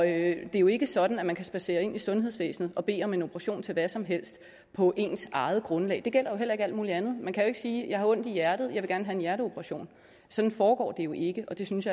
er jo ikke sådan at man kan spadsere ind i sundhedsvæsenet og bede om en operation til hvad som helst på ens eget grundlag det gælder jo heller ikke alt mulig andet man kan jo ikke sige at jeg har ondt i hjertet og jeg have en hjerteoperation sådan foregår det jo ikke og det synes